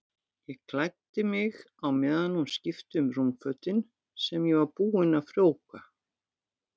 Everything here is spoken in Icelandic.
Ég klæddi mig á meðan hún skipti um rúmfötin sem ég var búinn að frjóvga.